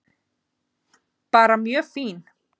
Bara mjög fín.